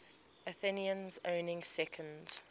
athenians owning second